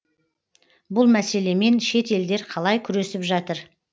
бұл мәселемен шет елдер қалай күресіп жатыр